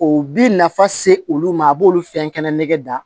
O bi nafa se olu ma a b'olu fɛn kɛnɛ da